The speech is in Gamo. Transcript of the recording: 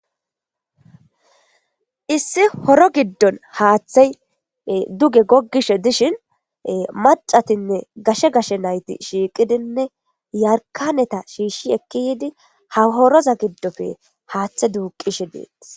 Issi horo giddon haaththey duge goggishe dishin macatinne gashe gashe nayti shiiqidinne yarkaneta shiishshi ekki yiidi ha horoza giddofe haaththe duuqishe deetis